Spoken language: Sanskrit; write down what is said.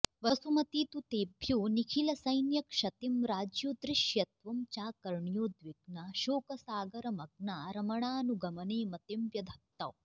वसुमती तु तेभ्यो निखिलसैन्यक्षतिं राज्ञोऽदृश्यत्वं चाकर्ण्योद्विग्ना शोकसागरमग्ना रमणानुगमने मतिं व्यधत्त